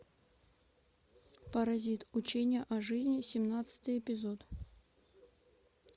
паразит учение о жизни семнадцатый эпизод